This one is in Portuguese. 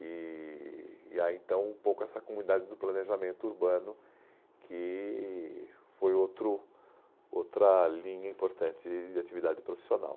E há e há então um pouco essa comunidade do planejamento urbano, que foi outro outra linha importante de atividade profissional.